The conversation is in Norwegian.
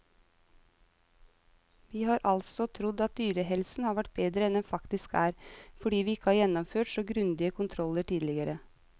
Vi har altså trodd at dyrehelsen har vært bedre enn den faktisk er, fordi vi ikke har gjennomført så grundige kontroller tidligere.